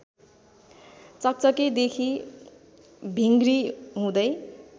चकचकेदेखि भिङ्ग्री हुँदै